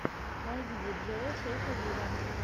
найди диджея шейка виво